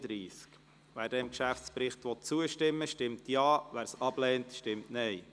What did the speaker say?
Wer diesem Geschäftsbericht zustimmen will, stimmt Ja, wer diesen ablehnt, stimmt Nein.